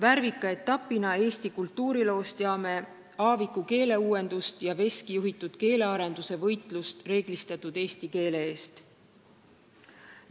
Eesti kultuuriloo värvika etapina teame Aaviku keeleuuendust ja Veski juhitud keelearenduse raames peetud võitlust reeglistatud eesti keele eest.